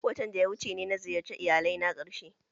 Watan da ya wuce ne na ziyarci iyalai na karshe